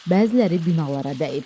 Bəziləri binalara dəyib.